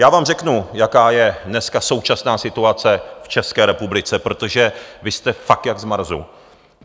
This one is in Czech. Já vám řeknu, jaká je dneska současná situace v České republice, protože vy jste fakt jak z Marsu.